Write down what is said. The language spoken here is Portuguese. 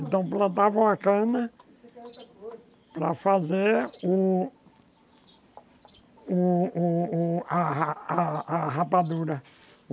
Então plantavam a cana para fazer o o o a a a a rapadura.